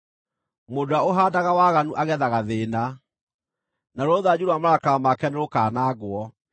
Mũndũ ũrĩa ũhaandaga waganu agethaga thĩĩna, naruo rũthanju rwa marakara make nĩrũkanangwo.